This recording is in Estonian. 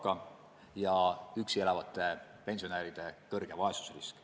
Püsima jääb ka üksi elavate pensionäride suur vaesusrisk.